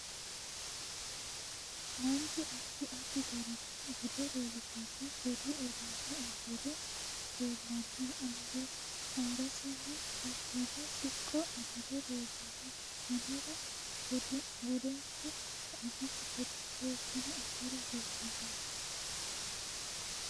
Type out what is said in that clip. Manchu addi addi garinni bude leelishanno budu uduine uddire leelanno angasinni biifanno siqqo amade leelanno konnira budinke ba'anokki gede seekine agara hasiisanonke